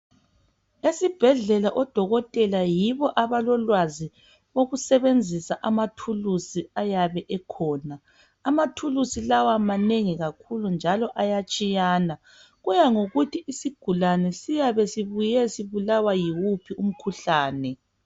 Esibhedlela odokotela yibo abalolwazi lokusebenzisa amathulusi ayabe ekhona. Amathulusi lawa manengi kakhulu njalo ayatshiyana. Kuya ngokuthi isigulane siyabe sibuye sibulawa yiwuphi umkhuhlane.